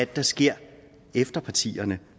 der sker efter partierne